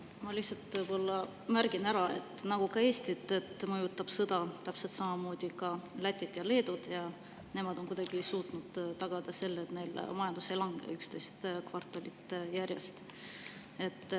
Ma lihtsalt märgin ära, et nagu Eestit, mõjutab sõda täpselt samamoodi ka Lätit ja Leedut, aga nemad on kuidagi suutnud tagada selle, et neil majandus ei ole langenud 11 kvartalit järjest.